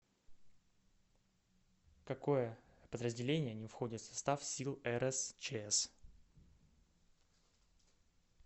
какое подразделение не входит в состав сил рсчс